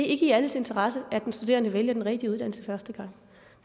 ikke i alles interesse at den studerende vælger den rigtige uddannelse første gang